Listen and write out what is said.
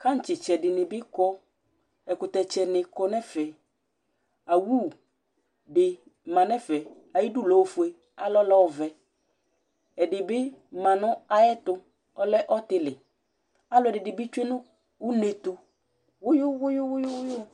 kaŋtsɩtsɛ dɩnɩ bɩ kɔ, ɛkʋyɛtsɛnɩ kɔ nʋ ɛfɛ Awu dɩ ma nʋ ɛfɛ Ayidu lɛ ofue, alɔ lɛ ɔvɛ Ɛdɩ bɩ ma nʋ ayɛtʋ, ɔlɛ ɔtɩlɩ Alʋɛdɩnɩ bɩ tsue nʋ une yɛ tʋ wʋyʋ wʋyʋ